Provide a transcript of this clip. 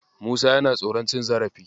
Musa yana tsoron cin zarafi.